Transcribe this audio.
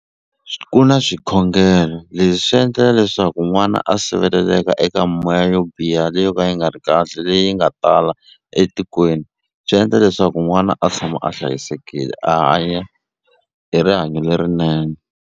Ku na swikhongelo leswi swi endlela leswaku n'wana a siveleleka eka moya yo biha leyi yo ka yi nga ri kahle leyi nga tala etikweni. Swi endla leswaku n'wana a tshama a hlayisekile a hanya hi rihanyo lerinene.